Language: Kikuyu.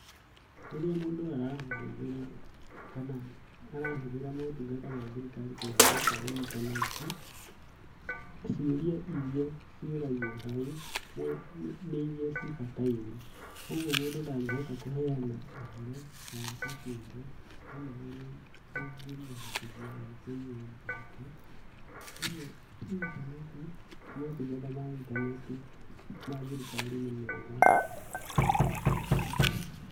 Rĩrĩa mũndũ arahũthĩra kana arahũthĩra motungata ma thirikari kũhĩtũkĩra intaneti. Ciũria iria ciũragio hau nĩ iria cibataire. Ũguo mũndu ndangĩhota kũheana ũhoro wa kĩmbĩmbĩ kana ũrĩa ũngĩmuhotithia kũiywo mbeca. Ũguo intaneti motungata ma intaneti, ma thirikari nĩ mega mũno.